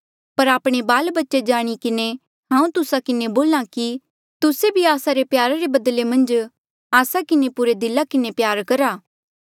पर आपणे बाल बच्चे जाणी किन्हें हांऊँ तुस्सा किन्हें बोल्हा कि तुस्से भी आस्सा रे प्यार रे बदले मन्झ आस्सा किन्हें पुरे दिला किन्हें प्यार करहा